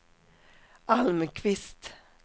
Almqvist